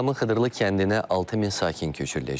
Ağdamın Xıdırlı kəndinə 6000 sakin köçürüləcək.